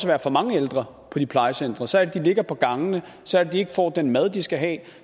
være for mange ældre på de plejecentre så er det de ligger på gangene så er det de ikke får den mad de skal have